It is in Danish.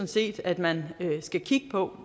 set at man skal kigge på